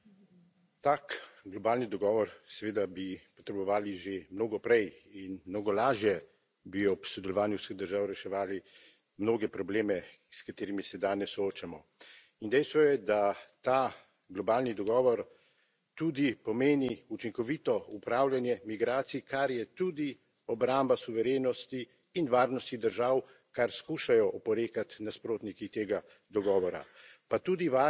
Spoštovani gospod predsedujoči, tak globalni dogovor seveda bi potrebovali že mnogo prej in mnogo lažje bi ob sodelovanju vseh držav reševali mnoge probleme, s katerimi se danes soočamo. In dejstvo je, da ta globalni dogovor tudi pomeni učinkovito upravljanje migracij, kar je tudi obramba suverenosti in varnosti držav, kar skušajo oporekati nasprotniki tega dogovora.